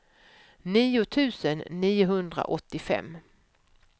nio tusen niohundraåttiofem